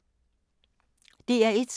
DR1